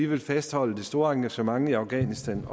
vil fastholde det store engagement i afghanistan